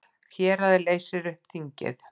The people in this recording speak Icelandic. Herráðið leysir upp þingið